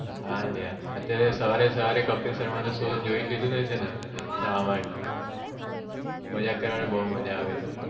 હા અલા અત્યારે સવારે સવારે કપિલ શર્મા નો show જોઈ લિધો ને એના માટે મજાક કરવા માં બહુ મજા આવે છે